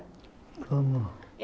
Como?